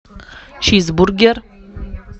чизбургер